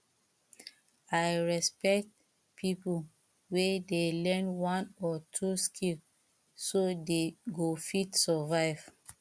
i respect people wey dey learn one or two skill so they go fit survive